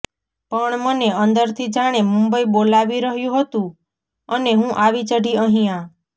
પણ મને અંદરથી જાણે મુંબઈ બોલાવી રહ્યું હતું અને હું આવી ચઢી અહીંયા